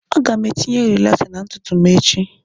Aga m etinye rilaxer na ntutu m echi